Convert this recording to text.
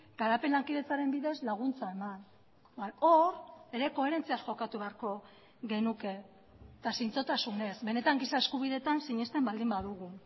garapen lankidetzaren bidez laguntza eman hor ere koherentziaz jokatu beharko genuke eta zintzotasunez benetan giza eskubidetan sinesten baldin badugu